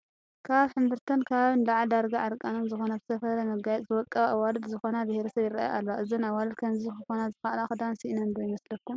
ካብ ሕምብርተን ከባቢ ንላዕሊ ዳርጋ ዕርቃነን ዝኾና ብዝተፈላለየ መጋየፂ ዝወቀባ ኣዋልድ ዝኾነ ብሄረሰብ ይርአያ ኣለዋ፡፡ እዘን ኣዋልድ ከምዚ ክኾና ዝኸኣላ ክዳን ስኢነን ዶ ይመስለኩም?